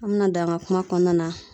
An mena don an ga kuma kɔnɔna na